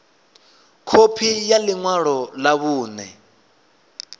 khophi ya ḽi ṅwalo ḽa vhuṋe